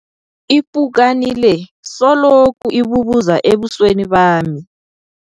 Ipukani le seloku ibubuza ebusweni bami.